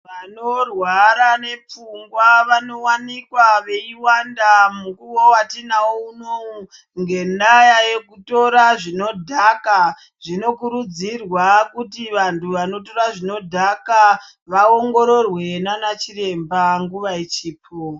Vanorwara nepfungwa vanowanikwa veiwanda mukuwo watinawo unou ngendaya yekutora zvinodhaka zvinokurudzirwa kuti vandu vanotora zvinodhaka vaongorerwe nanachiremba nguva ichipo.